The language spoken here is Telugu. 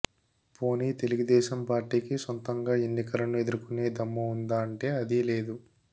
పోనీ తెలుగుదేశం పార్టీకి సొంతంగా ఎన్నికలను ఎదుర్కునే దమ్ము ఉందా అంటే అదీ లేదు